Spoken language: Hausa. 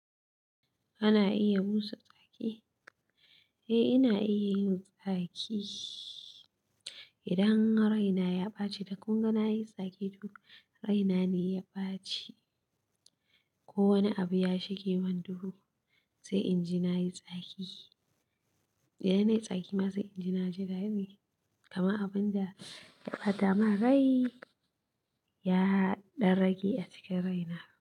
Ana iya busa ki? Eh ina iya yin tsaki idan raina ya ɓaci, da kun ga na yi tsaki duk raina ne ya ɓaci. Ko wani abu ya shige man duhu, sai inji nayi tsaki. Idan nayi tsaki ma sai inji na ji dadi, kama abinda ya ɓata mana rai ya ɗan rage a cikin raina.